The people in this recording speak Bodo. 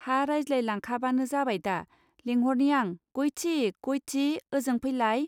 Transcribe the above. हा रायज्लाय लांखाबानो जाबायददा लेंहरनि आं गयथि गयथि ओजों फैलाय.